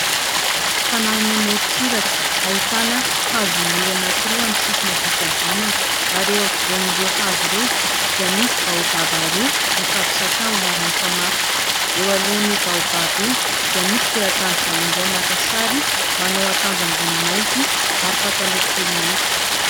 Tanàna eny amoritsiraka hahitana hazo maniry anankiroa amin'ny sisiny havia sy havanana ; ary eo ampivoan'ireo hazo ireo dia misy baobaba roa mifampisakambina ary mifamatotra. Eo alohan'io baobaba io dia misy teratany vahiny iray maka sary ; manao akanjo ambony mainty ary pataloha fohy mainty.